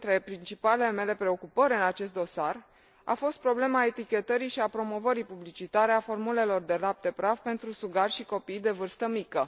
Una dintre principalele mele preocupări în acest dosar a fost problema etichetării și a promovării publicitare a formulelor de lapte praf pentru sugari și copii de vârstă mică.